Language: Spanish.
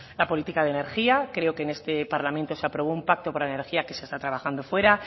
la política de energía creo que en este parlamento se aprobó un pacto para energía que se está trabajando fuera